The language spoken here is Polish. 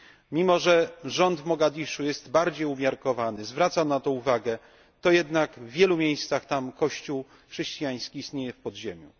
Mimo, że rząd Mogadiszu jest bardziej umiarkowany, zwraca na to uwagę, to jednak w wielu miejscach tam kościół chrześcijański istnieje w podziemiu.